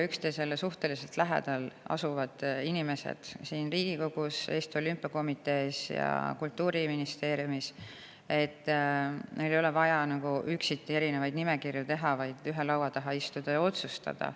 Üksteisele suhteliselt lähedal asuvatel inimestel Riigikogus, Eesti Olümpiakomitees ja Kultuuriministeeriumis ei ole vaja üksiti erinevaid nimekirju teha, vaid tuleks ühe laua taha istuda ja otsustada.